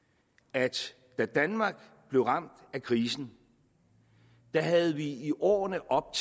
at da danmark blev ramt af krisen havde vi i årene op